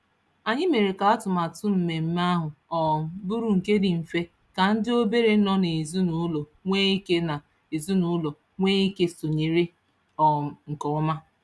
Anyị mere ka atụmatụ mmemme ahụ um bụrụ nke dị mfe ka ndị obere nọ n'ezinụụlọ nwee ike n'ezinụụlọ nwee ike sonyere um nke ọma.